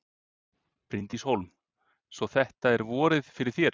Bryndís Hólm: Svo þetta er vorið fyrir þér?